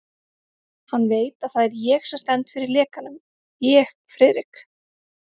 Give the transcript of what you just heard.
Hann veit, að það er ég sem stend fyrir lekanum ég, Friðrik